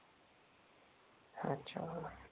अच्छा.